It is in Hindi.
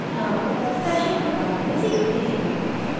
अब stashing के बारे में सीखते हैं